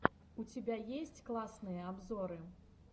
у тебя есть классные обзоры